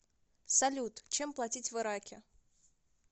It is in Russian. салют чем платить в ираке